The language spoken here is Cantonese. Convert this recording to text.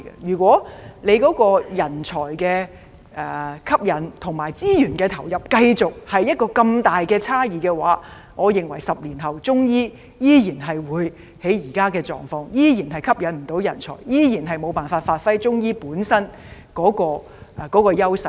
如果政府在吸引人才及投入資源方面繼續有這麼重大的差異，我認為10年後的中醫發展依然會處於現有狀況，無法吸引人才，也無法發揮其本身的優勢。